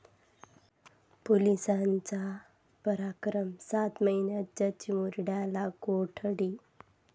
पोलिसांचा पराक्रम, सात महिन्यांच्या चिमुरड्याला कोठडी